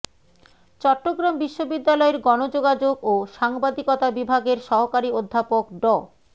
চট্টগ্রাম বিশ্ববিদ্যালয়ের গণযোগাযোগ ও সাংবাদিকতা বিভাগের সহকারি অধ্যাপক ড